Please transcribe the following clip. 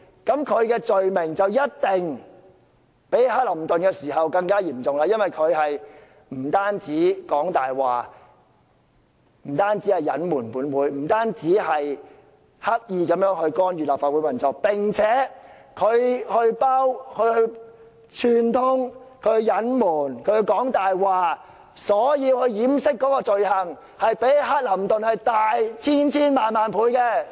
那麼，他的罪行必定較克林頓更為嚴重，因為他不單說謊、隱瞞本會、刻意干預立法會運作，並串通、隱瞞、說謊來掩飾，其罪行一定較克林頓大千千萬萬倍。